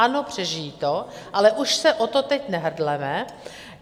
Ano, přežijí to, ale už se o to teď nehrdleme.